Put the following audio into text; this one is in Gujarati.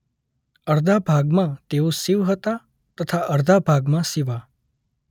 અર્ધા ભાગમાં તેઓ શિવ હતા તથા અર્ધા ભાગમાં શિવા.